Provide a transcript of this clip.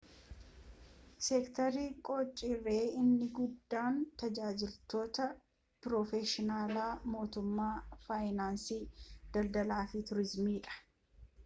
seektarii qaccari inni guddaan tajaajiloota piroofeshinaala mootummaa faayinaansi daldalaa fi tuuriziimii dha